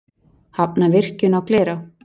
Hafna virkjun í Glerá